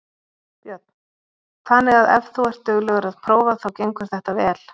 Björn: Þannig að ef þú ert duglegur að prófa þá gengur þetta allt vel?